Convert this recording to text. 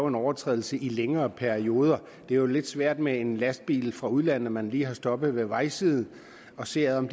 en overtrædelse i længere perioder det er jo lidt svært med en lastbil fra udlandet som man lige har stoppet ved vejsiden at se om